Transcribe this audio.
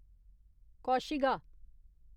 कौशिगा